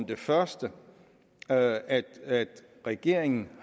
det første at at regeringen